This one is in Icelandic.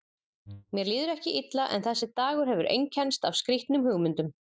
Mér líður ekki illa en þessi dagur hefur einkennst af skrýtnum hugmyndum.